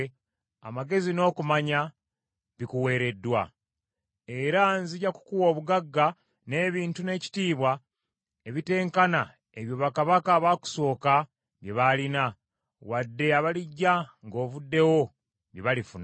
amagezi n’okumanya bikuweereddwa. Era nzija kukuwa obugagga, n’ebintu, n’ekitiibwa, ebitenkana ebyo bakabaka abaakusooka bye baalina, wadde abalijja ng’ovuddewo, bye balifuna.”